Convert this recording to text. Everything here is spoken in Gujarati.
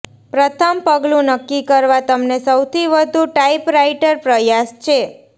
પ્રથમ પગલું નક્કી કરવા તમને સૌથી વધુ ટાઇપરાઇટર પ્રયાસ છે